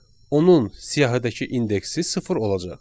Onun siyahıdakı indeksi sıfır olacaq.